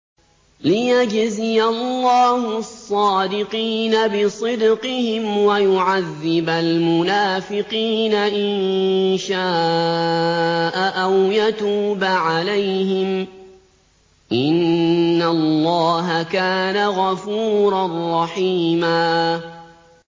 لِّيَجْزِيَ اللَّهُ الصَّادِقِينَ بِصِدْقِهِمْ وَيُعَذِّبَ الْمُنَافِقِينَ إِن شَاءَ أَوْ يَتُوبَ عَلَيْهِمْ ۚ إِنَّ اللَّهَ كَانَ غَفُورًا رَّحِيمًا